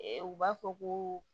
U b'a fɔ ko